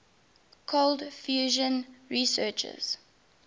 cold fusion researchers